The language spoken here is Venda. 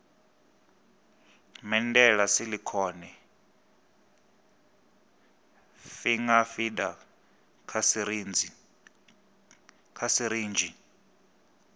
medela silicone finger feeder kha sirinzhi